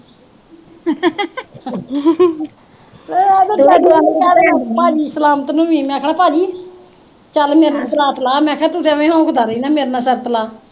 ਜਿਹੜਾ ਭਾਜੀ ਜਸਵੰਤ ਨੀਂ, ਮੈਂ ਕਿਆ ਭਾਜੀ ਚੱਲ ਮੇਰੇ ਨਾਲ ਪਰਾਤ ਲਾ, ਮੈਂ ਕਿਆ ਤੂੰ ਮੇਰੇ ਨਾਲ ਸ਼ਰਤ ਲਾ